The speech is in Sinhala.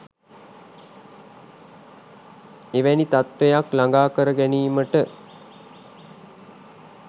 එවැනි තත්වයක් ලඟා කර ගැනීමට